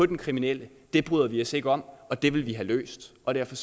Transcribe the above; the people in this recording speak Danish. den kriminelle det bryder vi os ikke om og det problem vil vi have løst og derfor